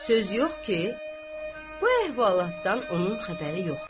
Söz yox ki, bu əhvalatdan onun xəbəri yoxdur.